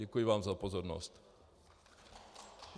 Děkuji vám za pozornost.